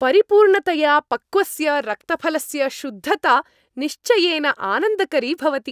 परिपूर्णतया पक्वस्य रक्तफलस्य शुद्धता निश्चयेन आनन्दकरी भवति।